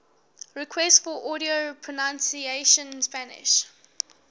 requests for audio pronunciation spanish